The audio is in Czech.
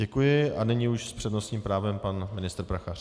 Děkuji a nyní už s přednostním právem pan ministr Prachař.